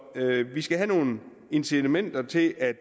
vi skal have nogle incitamenter til at